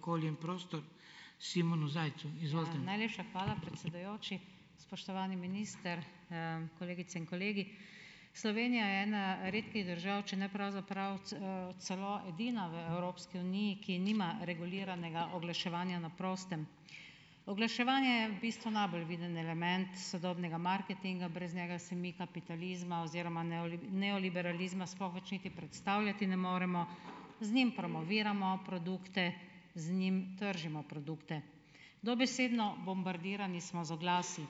Ja, najlepša hvala, predsedujoči. Spoštovani minister, kolegice in kolegi. Slovenija je ena redkih držav, če ne pravzaprav celo edina v Evropski uniji, ki nima reguliranega oglaševanja na prostem. Oglaševanje je v bistvu najbolj viden element sodobnega marketinga, brez njega si mi kapitalizma oziroma neoliberalizma sploh več niti predstavljati ne moremo, z njim promoviramo produkte, z njim tržimo produkte. Dobesedno bombardirani smo z oglasi.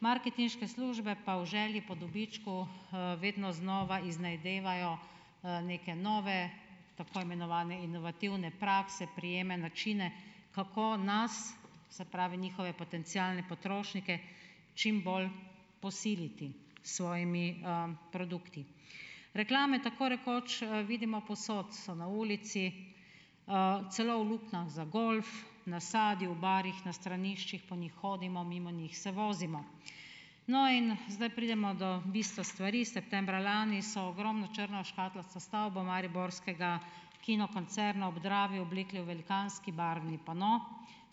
Marketinške službe pa v želji po dobičku, vedno znova iznajdevajo, neke nove tako imenovane inovativne prakse, prijeme, načine, kako nas, se pravi njihove potencialne potrošnike, čim bolj posiliti s svojimi, produkti. Reklame tako rekoč vidimo povsod, so na ulici, celo v luknjah za golf, na sadju, v barih, na straniščih, po njih hodimo, mimo njih se vozimo. No, in zdaj pridemo do bistva stvari. Septembra lani so ogromno črno škatlasto stavbo mariborskega kinokoncerna ob Dravi oblekle v velikanski barvni pano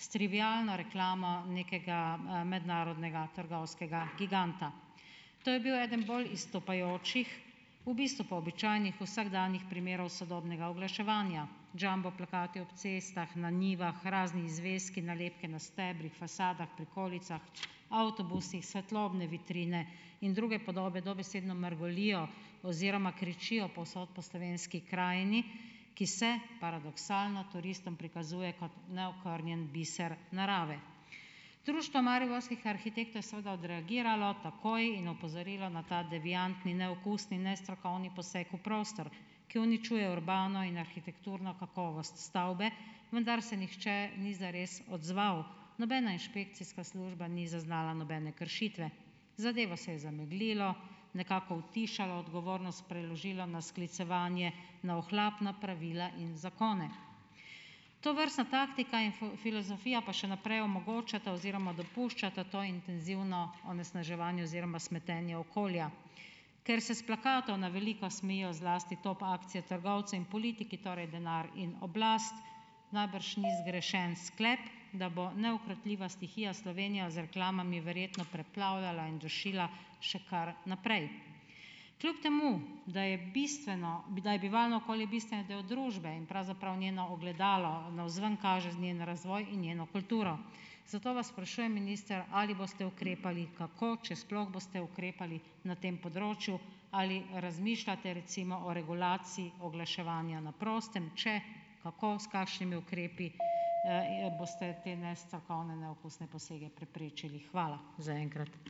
s trivialno reklamo nekega, mednarodnega trgovskega giganta. To je bil eden bolj izstopajočih, v bistvu pa običajnih, vsakdanjih primerov sodobnega oglaševanja. Jumbo plakati ob cestah, na njivah, raznih zvezkih, nalepke na stebrih, fasadah, prikolicah, avtobusih, svetlobne vitrine in druge podobe dobesedno mrgolijo oziroma kričijo povsod po slovenski krajini, ki se paradoksalno turistom prikazuje kot neokrnjen biser narave. Društvo mariborskih arhitektov je seveda odreagiralo takoj in opozorilo na ta deviantni, neokusni in nestrokovni poseg v prostor, ki uničuje urbano in arhitekturno kakovost stavbe, vendar se nihče ni zares odzval. Nobena inšpekcijska služba ni zaznala nobene kršitve. Zadevo se je zameglilo, nekako utišalo, odgovornost preložilo na sklicevanje na ohlapna pravila in zakone. Tovrstna taktika in filozofija pa še naprej omogočata oziroma dopuščata to intenzivno onesnaževanje oziroma smetenje okolja. Ker se s plakatov na veliko smejijo zlasti top akcije trgovcev in politiki, torej denar in oblast, najbrž ni zgrešen sklep, da bo neukrotljiva stihija Slovenijo z reklamami verjetno preplavljala in dušila še kar naprej. Kljub temu da je bistveno, da je bivalno okolje bistveni del družbe in pravzaprav njeno ogledalo, navzven kaže njen razvoj in njeno kulturo. Zato vas sprašujem minister, ali boste ukrepali, kako, če sploh boste ukrepali na tem področju. Ali razmišljate recimo o regulaciji oglaševanja na prostem? Če, kako, s kakšnimi ukrepi, boste te nestrokovne neokusne posege preprečili? Hvala za enkrat.